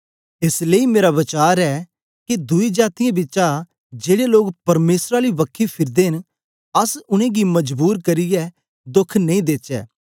एस लेई मेरा वचार ए ऐ के दुई जातीयें बिचा जेड़े लोग परमेसर आली बखी फिरदे न अस उनेंगी मजबूर करियै दोख नेई देचै